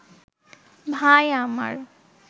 ভাই আমার